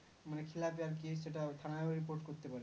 মানে খীলাপে আর কি সেটা থানায় ও Report করতে পারে